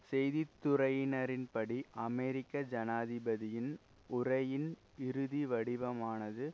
செய்தி துறையினரின்படி அமெரிக்க ஜனாதிபதியின் உரையின் இறுதி வடிவமானது